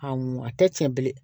Awɔ a tɛ tiɲɛ bilen